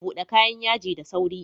Bude kayan yaji da sauri.